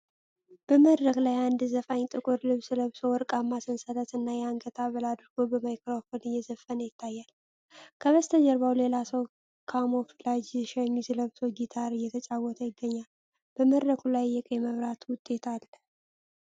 በመድረክ ላይ አንድ ዘፋኝ ጥቁር ልብስ ለብሶ፤ ወርቃማ ሰንሰለት እና የአንገት ሐብል አድርጎ፣ በማይክሮፎን እየዘፈነ ይታያል። ከበስተጀርባው ሌላ ሰው ካሞፍላጅ ሸሚዝ ለብሶ ጊታር እየተጫወተ ይገኛል፤ በመድረኩ ላይ የቀይ መብራት ውጤት አለ።